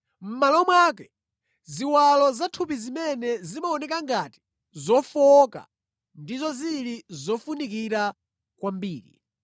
Mʼmalo mwake, ziwalo zathupi zimene zimaoneka ngati zofowoka ndizo zili zofunikira kwambiri,